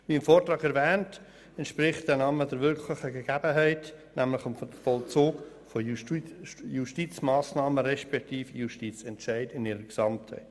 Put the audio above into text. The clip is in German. Wie im Vortrag erwähnt, entspricht der Name der wirklichen Gegebenheit, nämlich dem Vollzug von Justizmassnahmen respektive Justizentscheiden in ihrer Gesamtheit.